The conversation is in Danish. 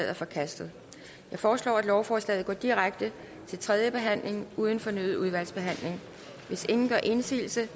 er forkastet jeg foreslår at lovforslaget går direkte til tredje behandling uden fornyet udvalgsbehandling hvis ingen gør indsigelse